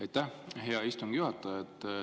Aitäh, hea istungi juhataja!